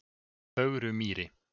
Fögrumýri